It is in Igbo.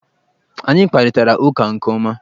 Anyị kparịtara ụka nke ọma.